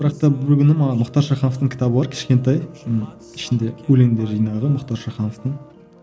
бірақ та бір күні маған мұхтар шахановтың кітабы бар кішкентай ммм ішінде өлеңдер жинағы мұхтар шахановтың